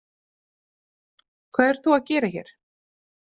Hvað ert þú að gera hér?